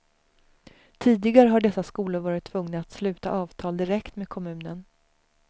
Tidigare har dessa skolor varit tvungna att sluta avtal direkt med kommunen.